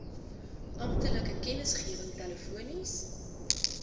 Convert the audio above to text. amptelike kennisgewing telefonies